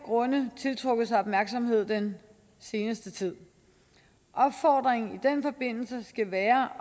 grunde tiltrukket sig opmærksomhed den seneste tid opfordringen i den forbindelse skal være